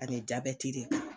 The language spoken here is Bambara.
Ani jabɛti de